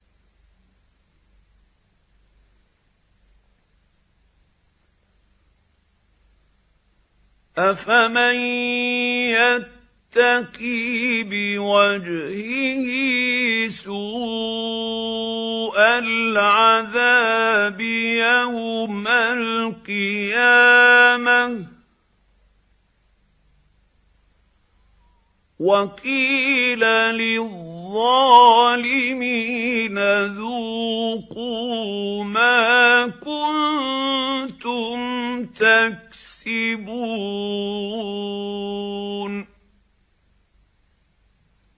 أَفَمَن يَتَّقِي بِوَجْهِهِ سُوءَ الْعَذَابِ يَوْمَ الْقِيَامَةِ ۚ وَقِيلَ لِلظَّالِمِينَ ذُوقُوا مَا كُنتُمْ تَكْسِبُونَ